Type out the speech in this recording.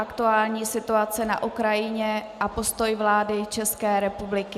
Aktuální situace na Ukrajině a postoj vlády České republiky